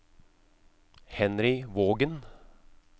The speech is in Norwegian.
Henry Vågen